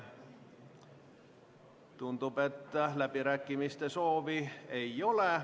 Tundub, et läbirääkimiste soovi ei ole.